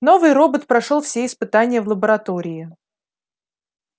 новый робот прошёл все испытания в лаборатории